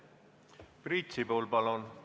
Priit Sibul, palun!